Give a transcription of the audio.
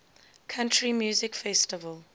country music festival